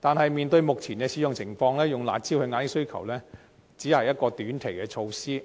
但從目前的使用情況可見，以"辣招"遏抑需求只是一項短期措施。